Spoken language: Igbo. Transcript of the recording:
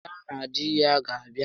Ya na di ya ga abịa